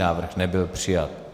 Návrh nebyl přijat.